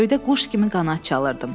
Göydə quş kimi qanad çalırdım.